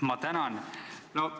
Ma tänan!